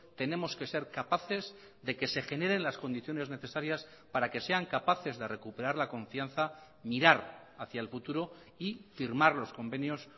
tenemos que ser capaces de que se generen las condiciones necesarias para que sean capaces de recuperar la confianza mirar hacia el futuro y firmar los convenios